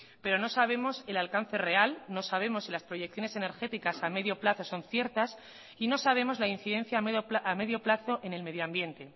pero no sabemos el alcance real no sabemos si las proyecciones energéticas a medio plazo son ciertas y no sabemos la incidencia a medio plazo en el medioambiente